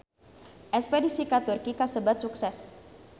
Espedisi ka Turki kasebat sukses